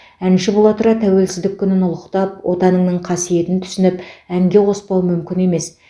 әнші бола тұра тәуелсіздік күнін ұлықтап отаныңның қасиетін түсініп әнге қоспау мүмкін емес